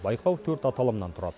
байқау төрт аталымнан тұрады